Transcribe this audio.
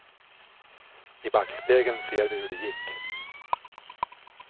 I backspegeln ser vi hur det gick.